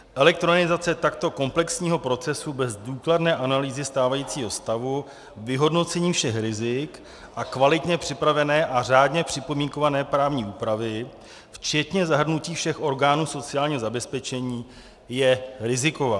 Elektronizace takto komplexního procesu bez důkladné analýzy stávajícího stavu, vyhodnocení všech rizik a kvalitně připravené a řádně připomínkované právní úpravy včetně zahrnutí všech orgánů sociálního zabezpečení je riziková.